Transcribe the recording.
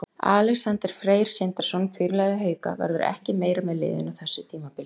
Alexander Freyr Sindrason, fyrirliði Hauka, verður ekki meira með liðinu á þessu tímabili.